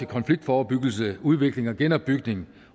konfliktforebyggelse udvikling og genopbygning